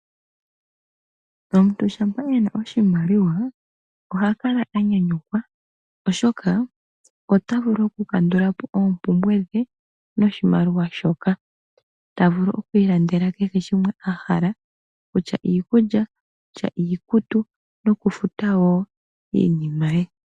Omuntu shampa ena oshimaliwa oha kala anyanyukwa oshoka ota vulu okukandulapo oompumbwe dhe noshimaliwa shoka. Ta vulu okwiilandela kehe shimwe a hala noshimaliwa shoka kutya iikulya, iikutu nokufuta wo iinima ye.